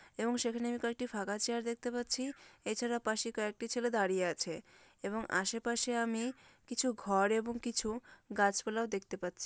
এবং সেখানে আমি কয়েকটি ফাঁকা চেয়ার দেখতে পাচ্ছি এছাড়া পাশে কয়েকটি ছেলে দাঁড়িয়ে আছে এবং আশেপাশে আমি কিছু ঘর এবং কিছু গাছপালাও দেখতে পাচ্ছি।